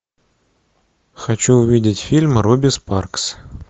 хочу увидеть фильм руби спаркс